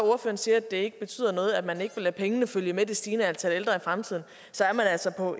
siger at det ikke betyder noget at man ikke vil lade pengene følge med det stigende antal ældre i fremtiden så er man altså på